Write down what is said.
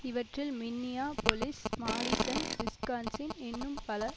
இவற்றில் Minneapolis Madison Wisconsin இன்னும் பல